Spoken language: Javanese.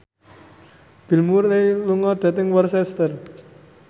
Bill Murray lunga dhateng Worcester